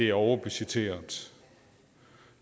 er overbudgetteret